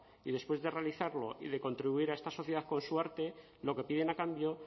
y después de realizarlo y de contribuir a esta sociedad con su arte lo que piden a cambio